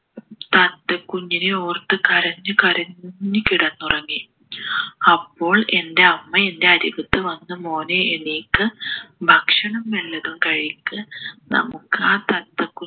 തത്ത കുഞ്ഞിനെ ഓർത്ത് കരഞ്ഞു കരഞ്ഞ് കിടന്നുറങ്ങി അപ്പോൾ എൻ്റെ അമ്മ എൻ്റെ അരികത്ത് വന്നു മോനെ എണീക്ക് ഭക്ഷണം വല്ലതും കഴിക്ക് നമുക്ക് ആ തത്തക്കുഞ്ഞിനെ